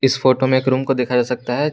इस फोटो में एक रूम को देखा जा सकता है।